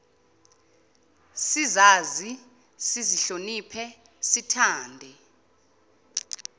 sizazi sizihloniphe sithande